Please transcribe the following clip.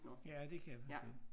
Ja det kan jeg se